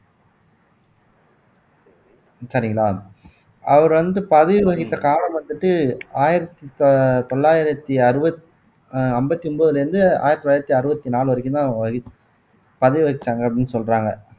சரிங்களா அவர் வந்து பதவி வகித்த காலம் வந்துட்டு ஆயிரத்தி தொ தொள்ளாயிரத்தி அறுவத் ஐம்பத்தி ஒன்பதுல இருந்து ஆயிரத்தி தொள்ளாயிரத்தி அறுபத்தி நாலு வரைக்கும்தான் பதவி வகிச்சாங்க அப்படின்னு சொல்றாங்க